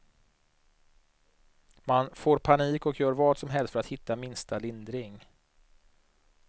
Man får panik och gör vad som helst för att hitta minsta lindring.